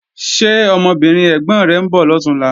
Ṣé ọmọbìnrin ẹ̀gbọ̀n rẹ̀ ń bọ̀ lọ̀túnla?